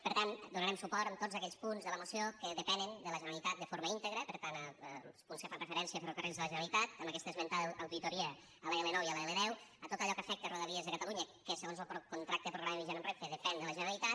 per tant donarem suport a tots aquells punts de la moció que depenen de la generalitat de forma íntegra per tant els punts que fan referència a ferrocarrils de la generalitat amb aquesta esmentada auditoria a l’l9 i l’l10 a tot allò que afecta rodalies de catalunya que segons lo contracte programa vigent amb renfe depèn de la generalitat